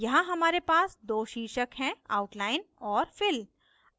यहाँ हमारे पास दो शीर्षक हैं: outline और fill